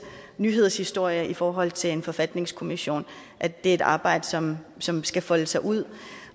nyhedshistorier i forhold til en forfatningskommission det er et arbejde som som skal folde sig ud